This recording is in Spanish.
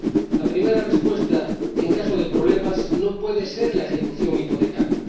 La primera respuesta, en caso de problemas, no puede ser la ejecución hipotecaria.